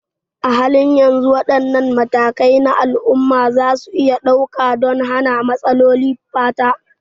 A halin yanzu, wadanne matakai ne al'umma za su iya ɗauka don hana matsalolin fata?